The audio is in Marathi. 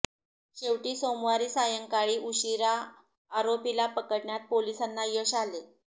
शेवटी सोमवारी सायंकाळी उशिरा आरोपीला पकडण्यात पोलिसांना यश आले